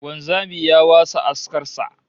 Wanzami ya wasa askar sa